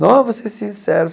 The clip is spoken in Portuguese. Ó, você é sincero.